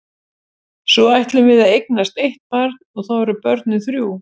Svo ætlum við að eignast eitt barn og þá eru börnin þrjú.